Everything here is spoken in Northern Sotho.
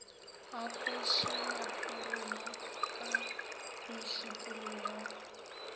a khoše maphoroma ka mešupologo